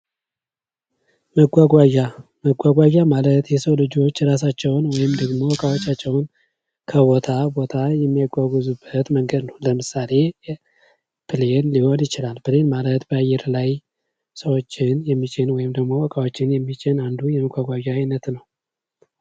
መጓጓዣ መጓጓዣ ማለት የሰው ልጆች እራሳቸውን ወይም ደግሞ እቃዎቻቸውን ከቦታ ቦታ የሚያጓጉዙበት መንገድ ነው። ለምሳሌ ብሌን ሊሆን ይችላል። ፕሌን ማለት በአየር ላይ ሰዎችን የሚጭን ወይም ደግሞ እቃዎችን የሚጭን አንዱ የመጓጓዣ አይነት ነው።